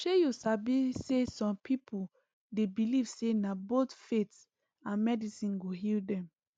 shey u sabi saysome people dey believe say na both faith and medicine go heal dem